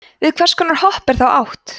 við hvers konar hopp er þá átt